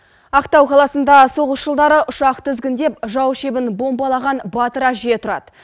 ақтау қаласында соғыс жылдары ұшақ тізгіндеп жау шебін бомбалаған батыр әже тұрады